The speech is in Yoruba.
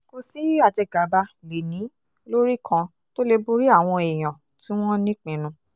kò sí àjẹgàba lè ní lórí kan tó lè borí àwọn èèyàn tí wọ́n nípinnu